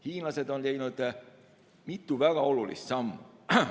Hiinlased on teinud mitu väga olulist sammu.